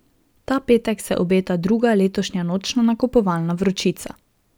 Ta petek se obeta druga letošnja nočna nakupovalna vročica.